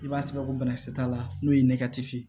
I b'a sigɛrɛ ko bana kisɛ t'a la n'o ye ye